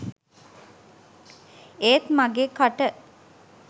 ඒත් මගෙ කට